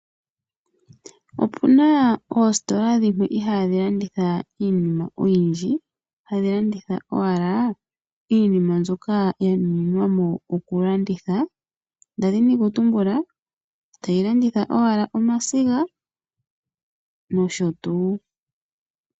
Opuna oositola dhimwe ihaadhi landitha iinima oyindji hadhi landitha owala iinima mbyoka ya nuninwa mo okulanditha, nda dhini okutumbula tayi landitha owala omasiga nosho tuu.